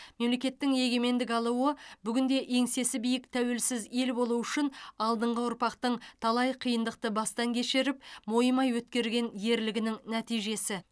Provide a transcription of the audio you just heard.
мемлекеттің егемендік алуы бүгінде еңсесі биік тәуелсіз ел болу үшін алдыңғы ұрпақтың талай қиындықты бастан кешіріп мойымай өткерген ерлігінің нәтижесі